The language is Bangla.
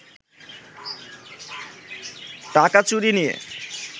টাকা চুরি নিয়ে